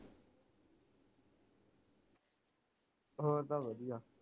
ਹੋਰ ਤਾ ਵਧੀਆ